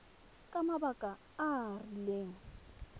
ka mabaka a a rileng